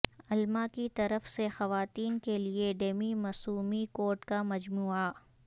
الما کی طرف سے خواتین کے لئے ڈیمی موسمی کوٹ کا مجموعہ